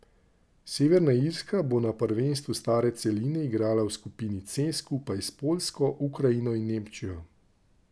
Severna Irska bo na prvenstvu stare celine igrala v skupini C skupaj s Poljsko, Ukrajino in Nemčijo.